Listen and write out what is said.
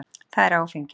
Það er áfengið.